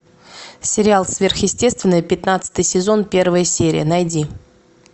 сериал сверхъестественное пятнадцатый сезон первая серия найди